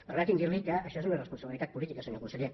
permeti’m dirli que això és una irresponsabilitat política senyor conseller